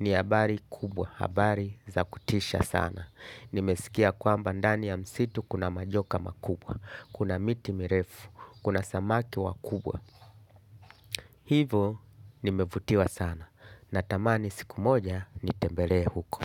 Ni habari kubwa. Habari za kutisha sana. Nimeskia kwamba ndani ya msitu kuna majoka makubwa. Kuna miti mirefu. Kuna samaki wakubwa. Hivo nimevutiwa sana. Natamani siku moja nitembelee huko.